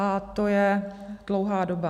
A to je dlouhá doba.